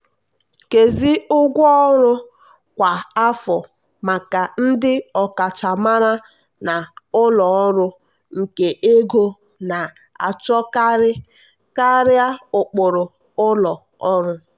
nkezi ụgwọ ọrụ kwa afọ maka ndị ọkachamara na ụlọ ọrụ nke ego na-achọkarị karịa ụkpụrụ ụlọ ọrụ.